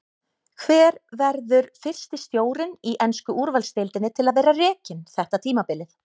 Hver verður fyrsti stjórinn í ensku úrvalsdeildinni til að vera rekinn þetta tímabilið?